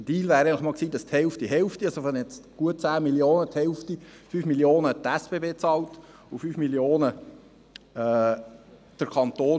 Der Deal wäre eigentlich noch gewesen, dass die SBB von diesen gut 10 Mio. Franken die Hälfte bezahlt, also 5 Mio. Franken, und der Kanton die anderen 5 Mio. Franken.